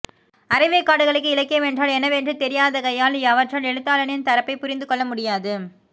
அரைவேக்காடுகளுக்கு இலக்கியம் என்றால் என்னவென்றே தெரியாதாகையால் அவற்றால் எழுத்தாளனின் தரப்பை புரிந்துகொள்ளமுடியாது